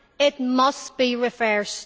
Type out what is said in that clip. it must be reversed.